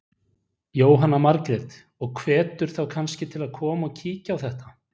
Jóhanna Margrét: Og hvetur þá kannski til að koma og kíkja á þetta?